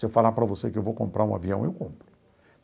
Se eu falar para você que eu vou comprar um avião, eu compro.